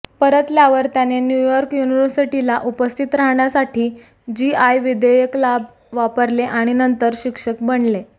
परतल्यावर त्याने न्यूयॉर्क युनिव्हर्सिटीला उपस्थित राहण्यासाठी जीआय विधेयक लाभ वापरले आणि नंतर शिक्षक बनले